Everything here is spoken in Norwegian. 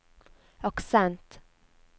aksent